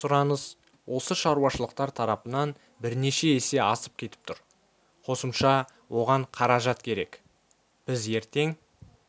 сұраныс осы шаруашылықтар тарапынан бірнеше есе асып кетіп тұр қосымша оған қаражат керек біз ертең